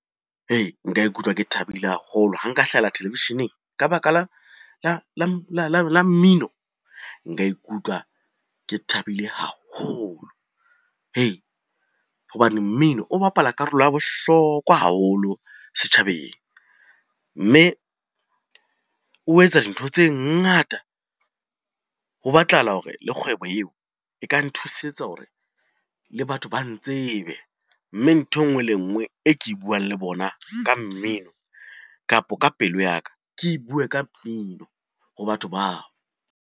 Nka ikutlwa ke thabile haholo ha nka hlahella televisheneng ka baka la mmino. Nka ikutlwa ke thabile haholo hobane mmino o bapala karolo ya bohlokwa haholo setjhabeng. Mme o etsa dintho tse ngata, ho batlahala hore le kgwebo eo e ka nthusitse hore le batho ba ntsebe. Mme nthwe nngwe le enngwe e ke e buang le bona ka mmino, kapo ka pelo ya ka. Ke bue ka mmino ho batho bao.